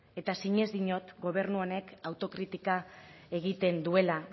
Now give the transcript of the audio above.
eta sinez diot gobernu honek autokritika egiten duela